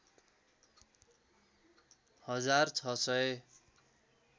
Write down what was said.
हजार ६ सय